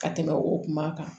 Ka tɛmɛ o kuma kan